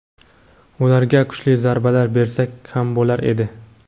ularga kuchli zarbalar bersak ham bo‘lar edi.